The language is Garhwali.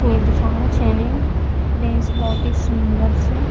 कोई दिखेणु छे नि प्लेस भौत ही सुन्दर च।